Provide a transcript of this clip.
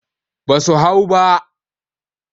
Ba su hau ba.